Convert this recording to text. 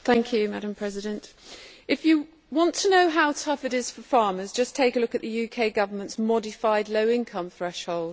Madam President, if you want to know how tough it is for farmers, just take a look at the UK Government's modified low income threshold.